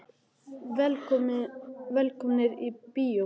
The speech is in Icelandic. Velkomnir í bíó.